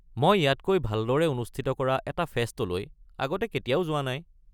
মই ইয়াতকৈ ভালদৰে অনুষ্ঠিত কৰা এটা ফেষ্টলৈ আগতে কেতিয়াও যোৱা নাই।